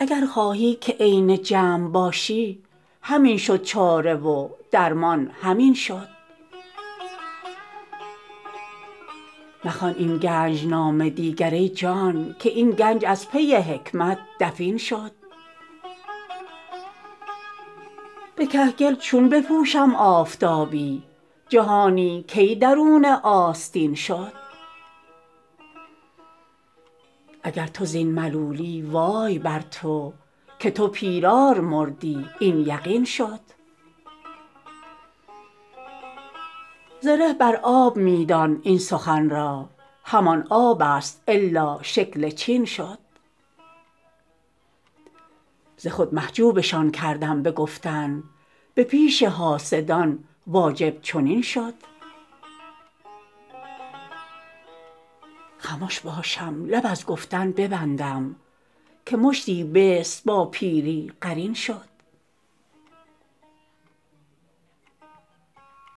اگر خواهی که عین جمع باشی همین شد چاره و درمان همین شد مخوان این گنج نامه دیگر ای جان که این گنج از پی حکمت دفین شد به کهگل چون بپوشم آفتابی جهانی کی درون آستین شد اگر تو زین ملولی وای بر تو که تو پیرار مردی این یقین شد زره بر آب می دان این سخن را همان آبست الا شکل چین شد ز خود محجوبشان کردم به گفتن به پیش حاسدان واجب چنین شد خمش باشم لب از گفتن ببندم که مشتی بیس با پیری قرین شد